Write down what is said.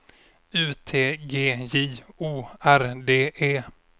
U T G J O R D E